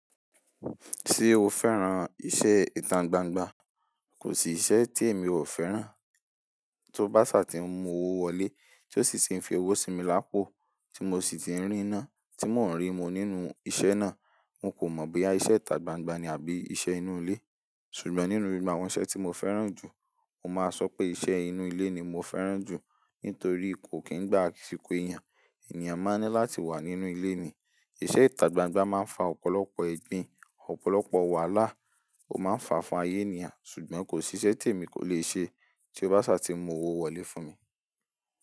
Ṣé o fẹ́ran iṣẹ́ ìta gbangba? Kò sí iṣẹ́ tí èmi ò fẹ́ran. Tí ó bá ṣà ti ń mu owó wọlé, tí ó sì ti ń fi owó sí mi lápò, tí mo sì ti ń rí iná, tí wọ́n ń rí mi nínú iṣẹ́ náà, mo kò mọ̀ bóyá iṣẹ́ ìta gbangba ni àbí iṣẹ́ inú ilé. Ṣùgbọ́n nínú gbogbo àwọn iṣẹ́ tí mo fẹ́ran jù, mo máa sọ pé iṣẹ́ inú ilé ni mo fẹ́ran jù nítorí kò kí ń gba àsìkò èèyàn. Èèyàn máa ń ní láti wà nínú ilé ni. Iṣẹ́ ìta gbangba máa ń fa ọ̀pọ̀lọpọ̀ ẹgbìn, ọ̀pọ̀lọpọ̀ wàhálà, ó máa ń fa'fa fun ayé eniyàn. Ṣùgbọ́n kò sí iṣẹ́ tí èmi kò le ṣe tí ó bá ṣà ti n mu owó wọlé fún mi.